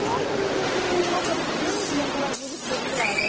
Poxa, mas você não traz roupa grande, que é aquelas blusas que você viu lá, né?